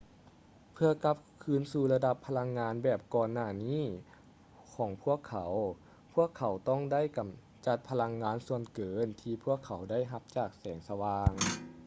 ເພື່ອກັບຄືນສູ່ລະດັບພະລັງງານແບບກ່ອນໜ້ານີ້ຂອງພວກເຂົາ ພວກເຂົາຕ້ອງໄດ້ກຳຈັດພະລັງງານສ່ວນເກີນທີ່ພວກເຂົາໄດ້ຮັບຈາກແສງສະຫວ່າງ